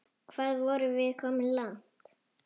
Hvað vorum við komin langt?